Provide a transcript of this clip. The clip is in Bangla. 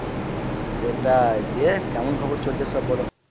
সেটাই দিয়ে কেমন খবর চলছে সব বলো?